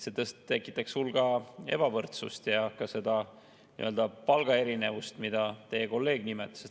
See tekitaks hulga ebavõrdsust ja ka palgaerinevust, mida teie kolleeg nimetas.